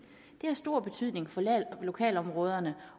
det har stor betydning for lokalområderne